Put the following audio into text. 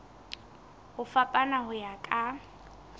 ho fapana ho ya ka